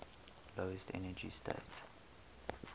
lowest energy state